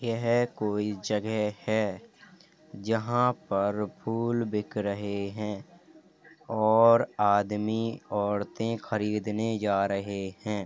यह कोई जगह है जहां पर फूल बिक रहे हैं और आदमी औरतें खरीदने जा रहे हैं।